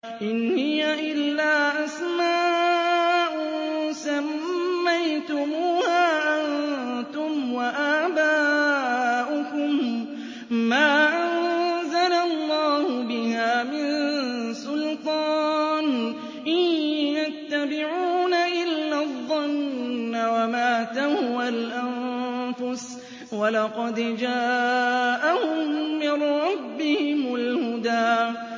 إِنْ هِيَ إِلَّا أَسْمَاءٌ سَمَّيْتُمُوهَا أَنتُمْ وَآبَاؤُكُم مَّا أَنزَلَ اللَّهُ بِهَا مِن سُلْطَانٍ ۚ إِن يَتَّبِعُونَ إِلَّا الظَّنَّ وَمَا تَهْوَى الْأَنفُسُ ۖ وَلَقَدْ جَاءَهُم مِّن رَّبِّهِمُ الْهُدَىٰ